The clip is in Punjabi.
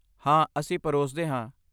ਹਾਂ ਅਸੀਂ ਪਰੋਸਦੇ ਹਾਂ।